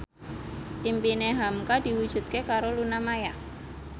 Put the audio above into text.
impine hamka diwujudke karo Luna Maya